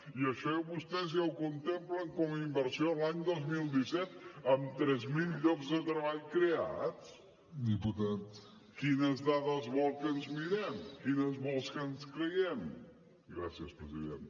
i això vostès ja ho contemplen com a inversió l’any dos mil disset amb tres mil llocs de treball creats quines dades vol que ens miren quines vol que ens creiem gràcies president